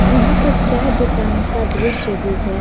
यहां पर चाय दुकान का दृश्य दिख रहा है।